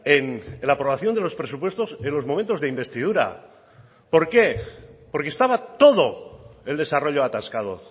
en la aprobación de los presupuestos en los momentos de investidura por qué porque estaba todo el desarrollo atascado